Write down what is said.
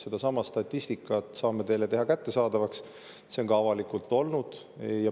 Sellesama statistika saame teile kättesaadavaks teha, see on ka avalik olnud.